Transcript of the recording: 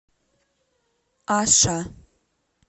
аша